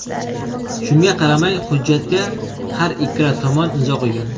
Shunga qaramay, hujjatga har ikkala tomon imzo qo‘ygan.